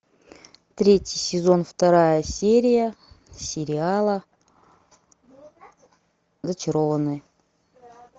третий сезон вторая серия сериала зачарованные